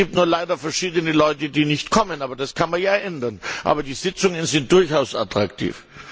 Es gibt nur leider verschiedene Leute, die nicht kommen, aber das kann man ja ändern. Die Sitzungen sind durchaus attraktiv.